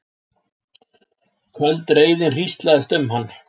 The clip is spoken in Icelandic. Köld reiðin hríslaðist um hann.